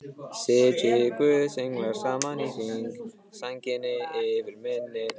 Sitji guðs englar saman í hring, sænginni yfir minni.